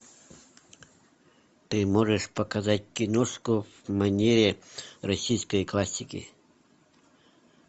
ты можешь показать киношку в манере российской классики